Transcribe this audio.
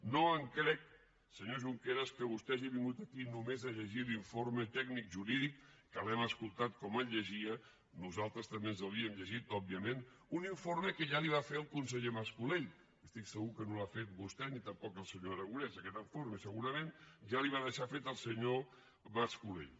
no em crec senyor junqueras que vostè hagi vingut aquí només a llegir l’informe tècnic jurídic que l’hem escoltat com el llegia nosaltres també ens l’havíem llegit òbviament un informe que ja li va fer el conseller mas colell estic segur que no l’ha fet vostè ni tampoc el senyor aragonès aquest informe segurament ja li va deixar fet el senyor mas colell